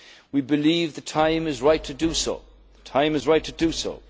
Union and the US. We believe the time